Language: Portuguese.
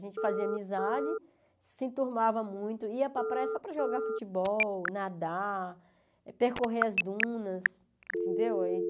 A gente fazia amizade, se enturmava muito, ia para a praia só para jogar futebol, nadar, percorrer as dunas, entendeu?